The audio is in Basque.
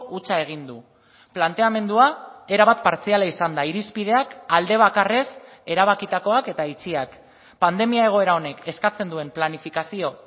hutsa egin du planteamendua erabat partziala izan da irizpideak alde bakarrez erabakitakoak eta itxiak pandemia egoera honek eskatzen duen planifikazio